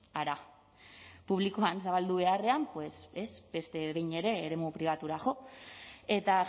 hara publikoan zabaldu beharrean pues beste behin ere eremu pribatura jo eta